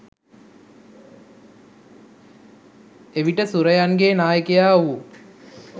එවිට සුරයන්ගේ නායකයා වූ